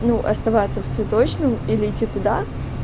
ну оставаться в цветочном или идти туда